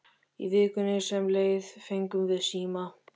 Í vikunni sem leið fengum við síma.